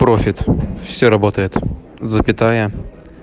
профит все работает запятая